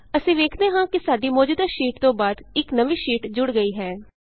ਅਸੀਂ ਵੇਖਦੇ ਹਾਂ ਕਿ ਸਾਡੀ ਮੌਜੂਦਾ ਸ਼ੀਟ ਤੋਂ ਬਾਅਦ ਇਕ ਨਵੀਂ ਸ਼ੀਟ ਜੁੜ ਗਈ ਹੈ